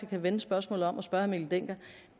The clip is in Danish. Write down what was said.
kan vende spørgsmålet om og spørge herre mikkel dencker